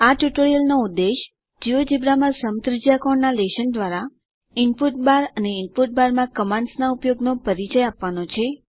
આ ટ્યુટોરીયલનો ઉદ્દેશ જિયોજેબ્રા માં સમત્રિજ્યાકોણ ના લેશન દ્વારા ઈનપુટ બાર અને ઈનપુટ બારમાં કમાંન્ડસના ઉપયોગનો પરિચય આપવાનો છે